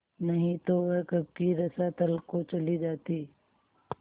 नहीं तो वह कब की रसातल को चली जाती